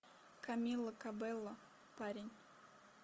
камила кабелло парень